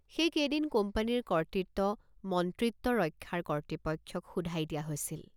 সেইকেইদিন কোম্পানীৰ কৰ্তৃত্ব মন্ত্ৰিত্ব ৰক্ষাৰ কৰ্তৃপক্ষক শোধাই দিয়া হৈছিল।